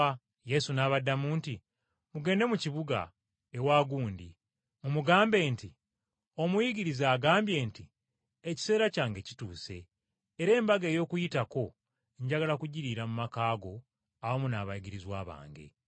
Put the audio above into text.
Yesu n’abaddamu nti, “Mugende mu kibuga ewa ‘Gundi,’ mumugambe nti, ‘Omuyigiriza agambye nti: Ekiseera kyange kituuse, era Embaga ey’Okuyitako njagala kugiriira mu maka go awamu n’abayigirizwa bange.’ ”